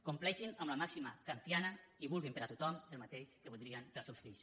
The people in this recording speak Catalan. compleixin amb la màxima kantiana i vulguin per a tothom el mateix que voldrien per als seus fills